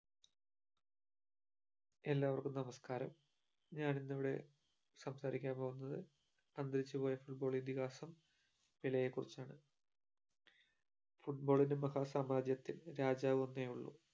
എല്ലാവർക്കും നമസ്കാരം ഞാനിന്നിവിടെ സംസാരിക്കാൻ പോകുന്നത് അന്തരിച്ചു പോയ football ഇതിഹാസം പെലെയെ കുറിച്ചാണ് football ന്റെ മഹാസാമ്രാജ്യത്തിൽ രാജാവ് ഒന്നേയുള്ളൂ